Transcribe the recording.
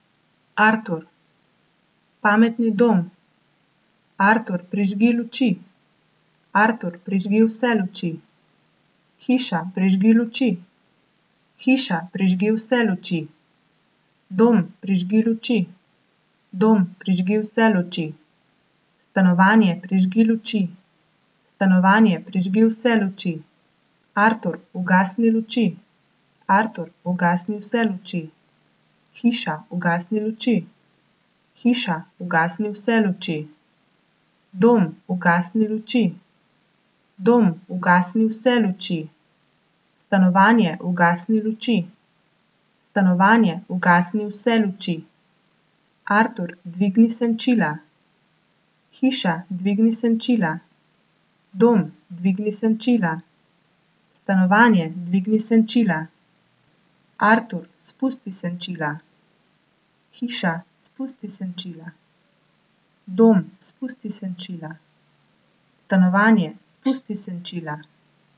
Artur. Pametni dom. Artur, prižgi luči. Artur, prižgi vse luči. Hiša, prižgi luči. Hiša, prižgi vse luči. Dom, prižgi luči. Dom, prižgi vse luči. Stanovanje, prižgi luči. Stanovanje, prižgi vse luči. Artur, ugasni luči. Artur, ugasni vse luči. Hiša, ugasni luči. Hiša, ugasni vse luči. Dom, ugasni luči. Dom, ugasni vse luči. Stanovanje, ugasni luči. Stanovanje, ugasni vse luči. Artur, dvigni senčila. Hiša, dvigni senčila. Dom, dvigni senčila. Stanovanje, dvigni senčila. Artur, spusti senčila. Hiša, spusti senčila. Dom, spusti senčila. Stanovanje, spusti senčila.